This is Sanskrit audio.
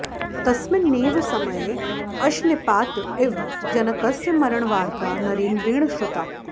तस्मिन्नेव समये अशनिपात इव जनकस्य मरणवार्ता नरेन्द्रेण श्रुता